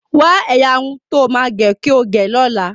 Wa ẹyà Irun tó má o ge kii ọ gé ló là.